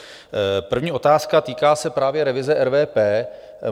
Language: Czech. První otázka se týká právě revize RVP.